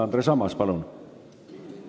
Andres Ammas, palun!